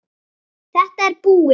Þetta er búið.